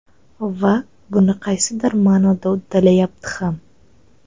Va buni qaysidir ma’noda uddalayapti ham.